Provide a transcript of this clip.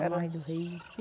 A margem do rio.